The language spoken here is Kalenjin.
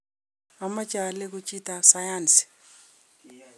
ameche aleku chitab sayansi